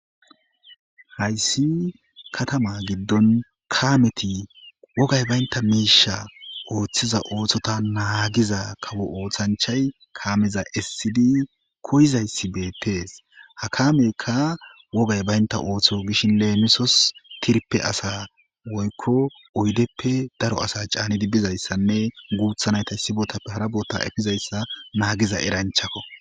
hayssi katama giddon kaameti wogay baynta miisha ooththiza ooththota naagiza kawo oothanchay kaameza essidi koyizayssi beettees ha kaameyka wogay baynta ooththo gishin leemisos tirpe asa woykko oydeppe daro asa caanidi bizayssanne guuthanayta issi botappe hara bota efizayssa naagiza eranchakko